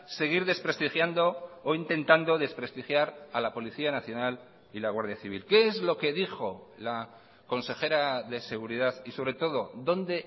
seguir desprestigiando o intentando desprestigiar a la policía nacional y la guardia civil qué es lo que dijo la consejera de seguridad y sobre todo dónde